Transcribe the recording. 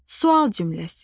Sual cümləsi.